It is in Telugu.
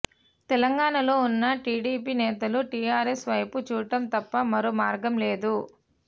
తెలంగాణలో ఉన్న టిడిపి నేతలు టిఆర్ఎస్ వైపు చూడటం తప్ప మరో మార్గం లేదు